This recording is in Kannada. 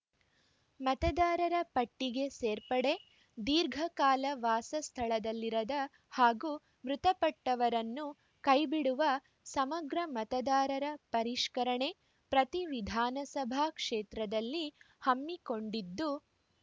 ಮತದಾರರ ಪಟ್ಟಿಗೆ ಸೇರ್ಪಡೆ ದೀರ್ಘ ಕಾಲ ವಾಸ ಸ್ಥಳದಲ್ಲಿರದ ಹಾಗೂ ಮೃತಪಟ್ಟವರನ್ನು ಕೈಬಿಡುವ ಸಮಗ್ರ ಮತದಾರರ ಪರಿಷ್ಕರಣೆ ಪ್ರತಿ ವಿಧಾನಸಭಾ ಕ್ಷೇತ್ರದಲ್ಲಿ ಹಮ್ಮಿಕೊಂಡಿದ್ದು